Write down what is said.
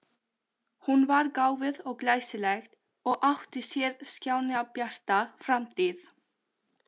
Hún var gáfuð og glæsileg og átti sér skjannabjarta framtíð.